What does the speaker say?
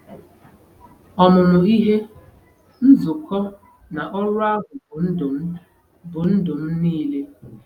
Ọmụmụ ihe, nzukọ, na ọrụ ahụ bụ ndụ m bụ ndụ m niile.